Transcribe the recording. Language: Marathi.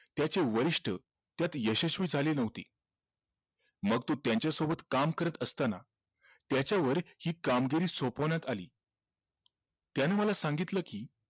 त्याचे वरिष्ठ त्यात यशस्वी झाले नव्हते मग तो त्यांच्या सोबत काम करत असताना त्याच्यावर हि कामगिरी सोपवण्यात आली त्यानं मला सांगितलं कि